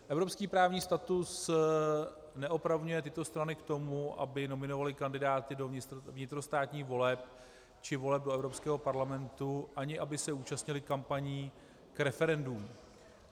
Evropský právní status neopravňuje tyto strany k tomu, aby nominovaly kandidáty do vnitrostátních voleb či voleb do Evropského parlamentu, ani aby se účastnily kampaní k referendům.